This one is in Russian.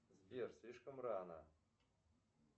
сбер слишком рано